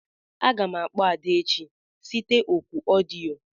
Aga m akpọ Ada echi site òkù odio.